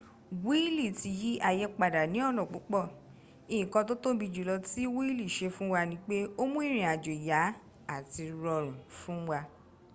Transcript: wíìlì ti yí àyé padà ní ọ̀nà púpọ̀ nkan tó tóbi jùlọ tí wíìlì ṣe fún wa ni pé o mú ìrìn àjò yá àti rọrùn fún wa